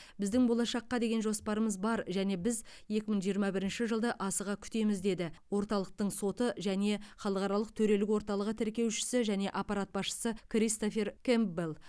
біздің болашаққа деген жоспарымыз бар және біз екі мың жиырма бірінші жылды асыға күтеміз деді орталықтың соты және халықаралық төрелік орталығы тіркеушісі және аппарат басшысы кристофер кэмпбелл